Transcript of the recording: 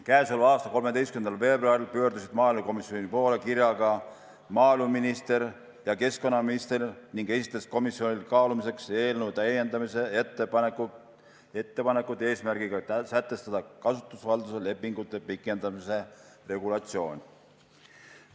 Käesoleva aasta 13. veebruaril pöördusid maaelukomisjoni poole kirjaga maaeluminister ja keskkonnaminister ning esitasid komisjonile kaalumiseks eelnõu täiendamise ettepanekud, et sätestada kasutusvalduse lepingute pikendamise regulatsioon.